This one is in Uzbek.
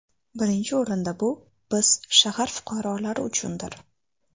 Birinchi o‘rinda bu, biz shahar fuqaralori uchundir.